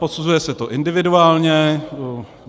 Posuzuje se to individuálně.